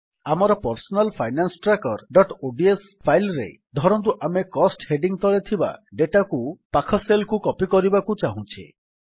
ଆମର personal finance trackerଓଡିଏସ file ରେ ଧରନ୍ତୁ ଆମେ କୋଷ୍ଟ ହେଡିଙ୍ଗ୍ ତଳେ ଥିବା ଡେଟାକୁ ପାଖ ସେଲ୍ କୁ କପୀ କରିବାକୁ ଚାହୁଁଛେ